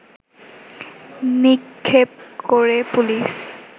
নিক্ষেপ করে পুলিশ